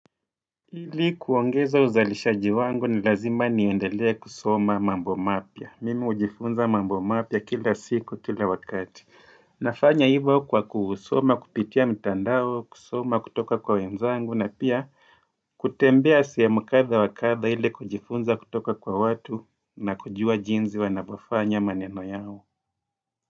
Ili kuongeza uzalishaji wangu ni lazima niendelee kusoma mambo mapya. Mimi hujifunza mambo mapya kila siku, kila wakati. Nafanya hivyo kwa kuusoma, kupitia mtandao, kusoma kutoka kwa wenzangu na pia kutembea siyamukadha wakadha ili kujifunza kutoka kwa watu na kujua jinzi wanavyofanya maneno yao.